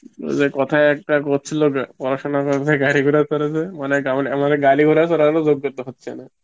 ওই যে কথায় একটা কচ্ছিল পড়াশুনা করে যে গাড়ি ঘোরা চরে সে মানে গা~ আমারে গাড়ি ঘর চড়ার ও যোগ্যতা হচ্ছে না